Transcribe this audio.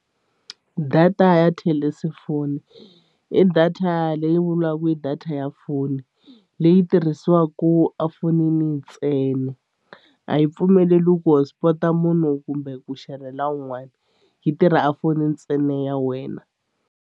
Data ya i data leyi vuriwaku i data ya foni leyi tirhisiwaku efonini ntsena a yi pfumeleriwi ku hotspot-a munhu kumbe ku xerhela un'wani yi tirha a fonini ntsena ya wena.